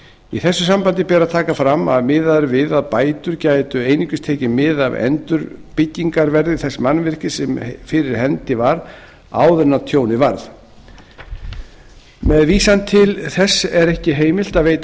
í þessu sambandi ber að taka fram að miðað er við að bætur geti einungis tekið mið af endurbyggingarverði þess mannvirkis sem fyrir hendi var áður en tjónið varð með vísan til þessa er ekki heimilt að veita